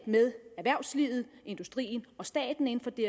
med erhvervslivet industrien og staten på det